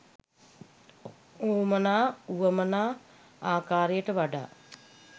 වුවමනා වුවමනා ආකාරයට වඩා